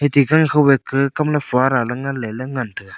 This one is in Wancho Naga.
ti kamle fada le ngan le ley ngan tai ga.